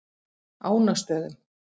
Ánastöðum